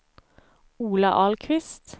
Ola Ahlqvist